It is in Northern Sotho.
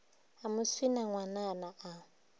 a mo swina ngwanana a